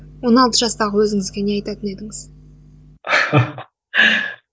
он алты жастағы өзіңізге не айтатын едіңіз